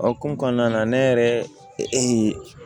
O hokumu kɔnɔna na ne yɛrɛ